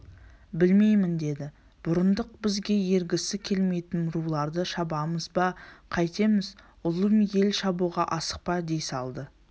білмеймін деді бұрындық бізге ергісі келмейтін руларды шабамыз ба қайтеміз ұлым ел шабуға асықпа дей салды